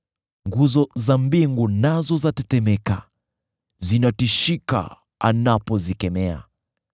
Nguzo za mbingu nazo zatetemeka, zinatishika anapozikemea.